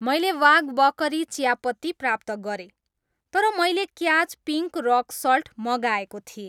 मैले वाग बकरी चियापत्ती प्राप्त गरेँ तर मैले क्याच पिङ्क रक सल्ट मगाएको थिएँ।